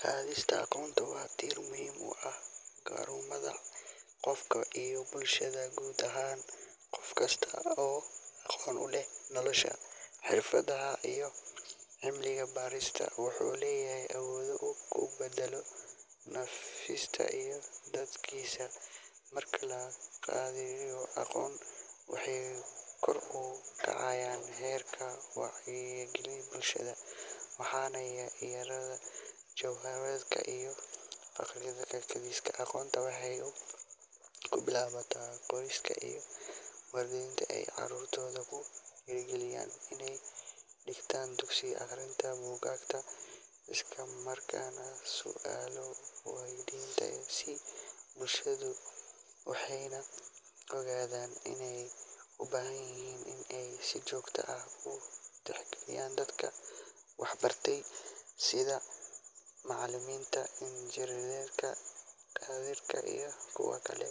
Qadista aqoonta waa tiir muhiim u ah horumarka qofka iyo bulshada guud ahaan. Qof kasta oo aqoon u leh nolosha, xirfadaha iyo cilmi-baarista wuxuu leeyahay awood uu ku beddelo naftiisa iyo dadkiisa. Marka la qadariyo aqoonta, waxaa kor u kacaya heerka wacyiga bulshada, waxaana yaraada jahwareerka iyo faqriga. Qadista aqoonta waxay ku bilaabataa qoyska, iyadoo waalidiintu ay carruurtooda ku dhiirrigeliyaan inay dhigtaan dugsi, akhriyaan buugaag, isla markaana su’aalo waydiiyaan si ay u kobciyaan garaadkooda. Sidoo kale, bulshada waxay u baahan tahay in ay si joogto ah u tixgeliso dadka waxbartay sida macallimiinta, injineerada, dhakhaatiirta iyo kuwa kale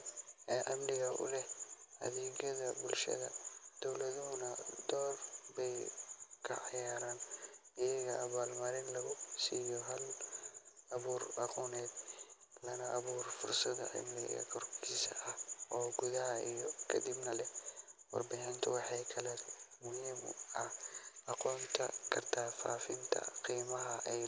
ee cilmi u leh adeegyada bulshada. Dowladuhuna door bay ka ciyaaraan iyadoo abaal-marin lagu siiyo hal-abuurka aqooneed, lana abuuro fursado cilmi kororsi ah oo gudaha iyo dibadda ah. Warbaahintu waxay kaloo kaalin muhiim ah ka qaadan kartaa faafinta qiimaha ay.